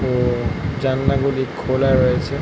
জানলা গুলি খোলা রয়েছে ।